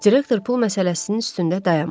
Direktor pul məsələsinin üstündə dayanmadı.